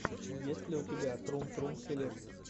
есть ли у тебя трум трум селект